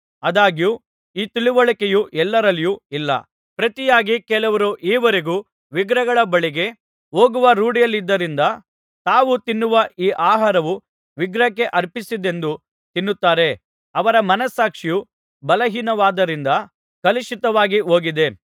ಆದಾಗ್ಯೂ ಈ ತಿಳಿವಳಿಕೆಯು ಎಲ್ಲರಲ್ಲಿಯೂ ಇಲ್ಲ ಪ್ರತಿಯಾಗಿ ಕೆಲವರು ಈ ವರೆಗೂ ವಿಗ್ರಹಗಳ ಬಳಿಗೆ ಹೋಗುವ ರೂಢಿಯಲ್ಲಿದರಿಂದ ತಾವು ತಿನ್ನುವ ಈ ಆಹಾರವು ವಿಗ್ರಹಕ್ಕೆ ಅರ್ಪಿಸಿದ್ದೆಂದು ತಿನ್ನುತ್ತಾರೆ ಅವರ ಮನಸ್ಸಾಕ್ಷಿಯು ಬಲಹೀನವಾದ್ದದರಿಂದ ಕಲುಷಿತವಾಗಿ ಹೋಗಿದೆ